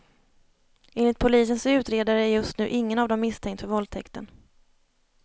Enligt polisens utredare är just nu ingen av dem misstänkt för våldtäkten.